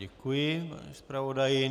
Děkuji, pane zpravodaji.